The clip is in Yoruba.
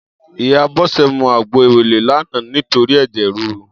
Iyá Bose mú àgbó éwélé làná nitóri èjè rirú